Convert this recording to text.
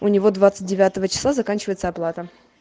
у него двадцать девятого числа заканчивается оплата